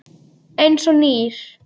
Eins og nýr.